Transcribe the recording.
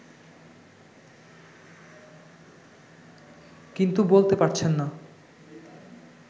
কিন্তু বলতে পারছেন না